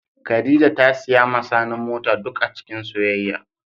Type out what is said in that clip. Khadijah ta siya ma sani mota duk acikin soyayya.